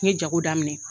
N ye jago daminɛ